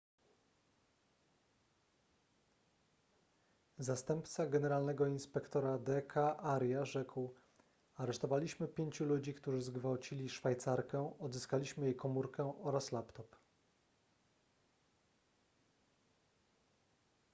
zastępca generalnego inspektora d k arya rzekł aresztowaliśmy pięciu ludzi którzy zgwałcili szwajcarkę odzyskaliśmy jej komórkę oraz laptop